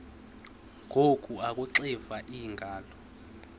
ngoku akuxiva iingalo